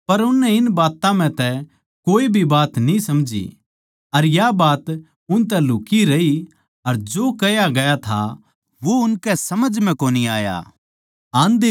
पर उननै इन बात्तां म्ह तै कोए बात न्ही समझी अर या बात उनतै लुक्ही रही अर जो कह्या गया था वो उसकी समझ कोनी आया